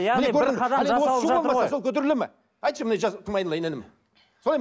көтеріледі ме айтшы кім айналайын інім